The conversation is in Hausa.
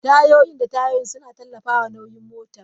Tayoyin da tayoyin suna tallafawa nauyin motar.